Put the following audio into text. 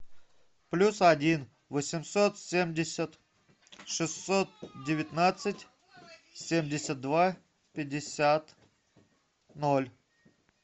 плюс один восемьсот семьдесят шестьсот девятнадцать семьдесят два пятьдесят ноль